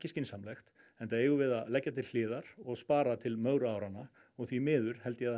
skynsamlegt enda eigum við að leggja til hliðar og spara til mögru áranna og því miður held ég að það